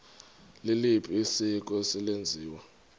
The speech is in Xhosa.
liliphi isiko eselenziwe